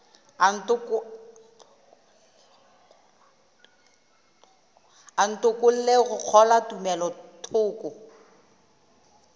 a ntokolle go kgolwa tumelothoko